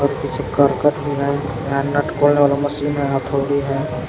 कुछ करकट भी है यहां नट बोल्ट और मशीन और हथौड़ी है।